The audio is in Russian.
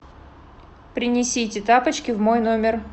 принесите тапочки в мой номер